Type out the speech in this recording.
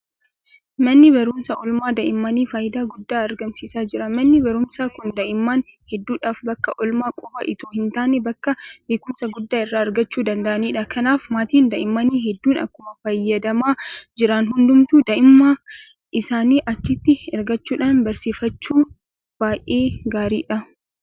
Manni barumsaa oolmaa daa'immanii faayidaa guddaa argamsiisaa jira. Manni barumsaa kun daa'imman hedduudhaaf bakka oolmaa qofa itoo hintaane bakka beekumsa guddaa irraa argachuu danda'anidha. Kanaaf maatiin daa'immanii hedduun akkuma fayyadamaa jiran hundumtuu daa'ima isaanii achitti ergachuudhaan barsiifachuun baay'ee gaariidha.